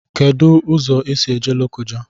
Kedu ụzọ esi eje Lokoja?